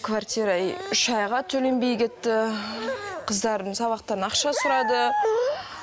квартира и үш айға төленбей кетті қыздарым сабақтарына ақша сұрады